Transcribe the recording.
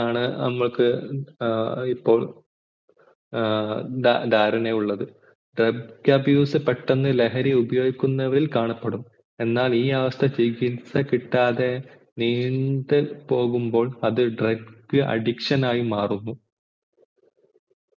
B ഏർ ധാരണ ഉള്ളത് drug abuse പെട്ടന്ന് ലഹരി ഉപയോഗിക്കുന്നവരിൽ കാണപ്പെടും എന്നാൽ ഈ അവസ്ഥക്ക് ചികിത്സ കിട്ടാതെ നീണ്ടു പോകുമ്പോൾ അത് drug addiction ആയി മാറുന്നു